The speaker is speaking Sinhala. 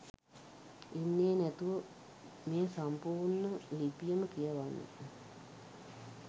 ඉන්නේ නැතුව මේ සම්පුර්ණ ලිපියම කියවන්න